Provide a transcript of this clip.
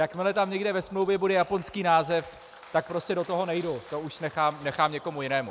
Jakmile tam někde ve smlouvě bude japonský název, tak prostě do toho nejdu, to už nechám někomu jinému.